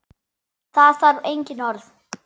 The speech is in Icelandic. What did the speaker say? Það þarf engin orð.